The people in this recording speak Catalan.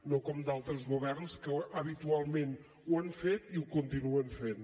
no com altres governs que habitualment ho han fet i ho continuen fent